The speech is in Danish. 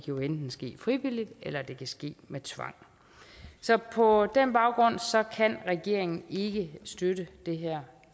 jo enten ske frivilligt eller det kan ske med tvang så på den baggrund kan regeringen ikke støtte det her